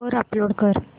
वर अपलोड कर